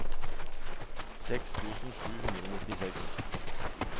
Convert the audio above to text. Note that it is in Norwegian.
seks tusen sju hundre og nittiseks